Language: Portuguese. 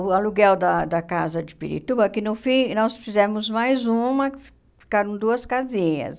O aluguel da da casa de Pirituba, que no fim nós fizemos mais uma, que fi ficaram duas casinhas.